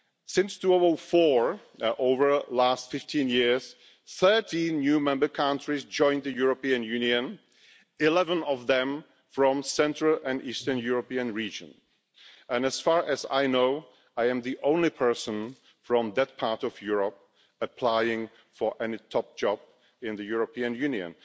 Since 2004, over the last 15 years, 13 new member countries have joined the European Union, 11 of them from the central and eastern European region and, as far as I know, I am the only person from that part of Europe applying for any top job in the European Union.